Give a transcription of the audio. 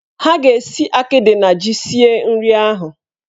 Ha ga-esi akịdị na ji sie nri ahụ.